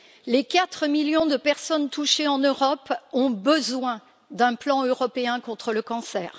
Les 4 millions de personnes touchées en Europe ont besoin d'un plan européen contre le cancer.